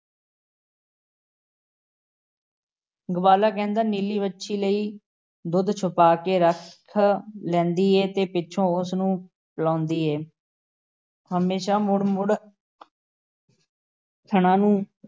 ਗਵਾਲਾ ਕਹਿੰਦਾ, ਨੀਲੀ ਵੱਛੀ ਲਈ ਦੁੱਧ ਛੁਪਾ ਕੇ ਰੱਖ ਲੈਂਦੀ ਏ ਤੇ ਪਿੱਛੋਂ ਉਸ ਨੂੰ ਪਿਲ਼ਾਂਦੀ ਹੈ । ਤੇ ਹਮੇਸ਼ਾਂ ਮੁੜ-ਮੁੜ ਥਣਾਂ ਨੂੰ